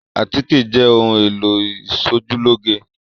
Àtíkè jẹ́ ohun-èlò ìṣojúlóge.